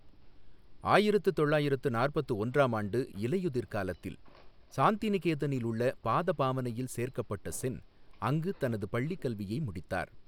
ஆயிரத்து தொள்ளயிரத்து நாற்பத்து ஒன்றாம் ஆண்டு இலையுதிர் காலத்தில், சாந்திநிகேதனில் உள்ள பாதபாவனையில் சேர்க்கப்பட்ட சென், அங்கு தனது பள்ளிக் கல்வியை முடித்தார்.